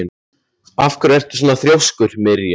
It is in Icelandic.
Af hverju ertu svona þrjóskur, Mirja?